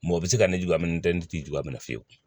Mɔgɔ bɛ se ka ne jigi a minɛ n tɛ n t'i jugama fiyewu